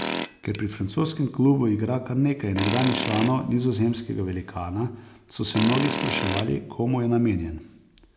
Ker pri francoskemu klubu igra kar nekaj nekdanjih članov nizozemskega velikana, so se mnogi spraševali, komu je namenjen.